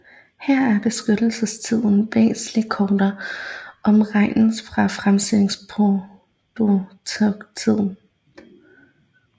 Her er beskyttelsestiden væsentlig kortere om regnes fra fremstillingstidspunktet